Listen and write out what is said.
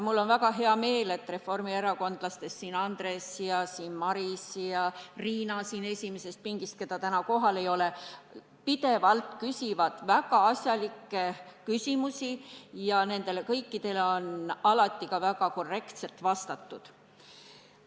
Mul on väga hea meel, et opositsiooni ridadesse kuuluvad Andres ja Maris, samuti Riina, keda täna küll kohal ei ole, pidevalt küsivad väga asjalikke küsimusi ja nendele kõikidele on alati ka väga korrektselt vastatud.